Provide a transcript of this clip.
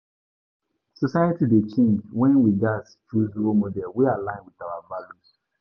Society dey change, and we gatz choose role models wey align with our values.